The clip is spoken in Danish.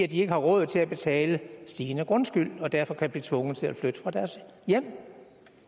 de ikke har råd til at betale stigende grundskyld og derfor kan blive tvunget til at flytte fra deres hjem